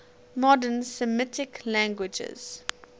modern semitic languages